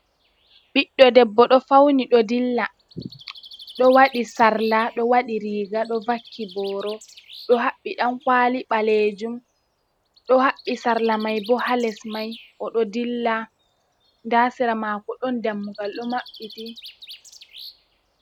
Ɓiɗdo debbo ɗo fawni, ɗo dilla, ɗo waɗi sarla, ɗo waɗi riiga, ɗo vakki booro, ɗo haɓɓi ɗankwaali ɓaleejum, ɗo haɓɓi sarla may bo ha les may o ɗo dilla, ndaa sera maako ɗon dammugal ɗo maɓɓiti.